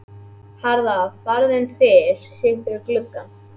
Hana, farðu inn fyrir, sittu við gluggann.